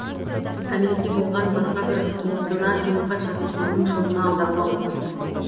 кәмелетке толған баска бір туысына сенімхат жазып соның шотына аударуға болады